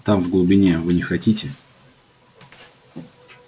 там в глубине вы не хотите